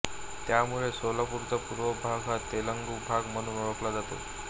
त्यामुळे सोलापूरचा पूर्व भाग हा तेलुगु भाग म्हणून ओळखला जातो